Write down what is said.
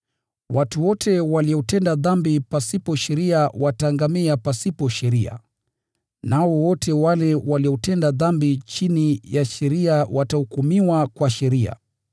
Watu wote waliotenda dhambi pasipo sheria wataangamia pasipo sheria, nao wote wale waliotenda dhambi chini ya sheria watahukumiwa kwa sheria.